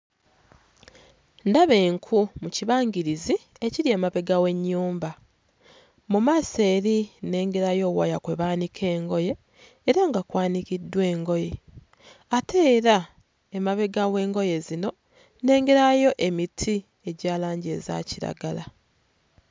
Ndaba enku mu kibangirizi akiri emabega w'ennyumba. Mu maaso eri nnengerayo waya kwe baanika engoye era nga kwanikiddwa engoye, ate era emabega w'engoye zino nnengerayo emiti egya langi eza kiragala.